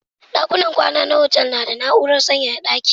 Ɗakunan kwan ana hotel suna da na'urar sanyaya ɗaki.